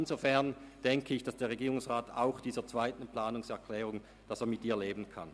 Insofern gehe ich davon aus, dass der Regierungsrat auch mit der zweiten Planungserklärung leben kann.